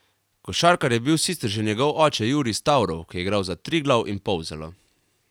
Košarkar je bil sicer že njegov oče Jurij Stavrov, ki je igral za Triglav in Polzelo.